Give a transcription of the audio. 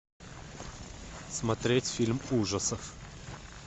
смотреть фильм ужасов